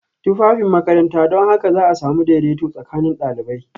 Tufafin makaranta don haka za a sami daidaito tsakanin ɗalibai